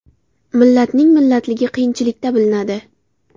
Millatning millatligi qiyinchilikda bilinadi.